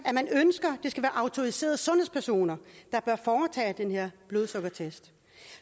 at man ønsker det skal være autoriserede sundhedspersoner der bør foretage den her blodsukkertest